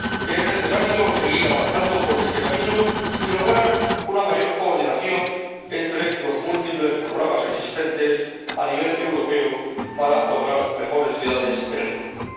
Es necesario seguir avanzando por este camino y lograr una mayor coordinación entre los múltiples programas existentes a nivel europeo para lograr mejores ciudades en el futuro.